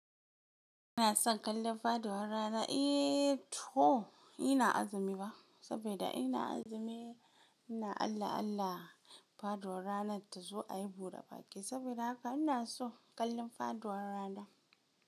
Ina son kallon faduwar rana, to ina azumi ba, saboda ina azumi ina Allah Allah faduwar ranar ta zo a yi buɗe baƙi. Saboda haka ina son kallon faduwar rana.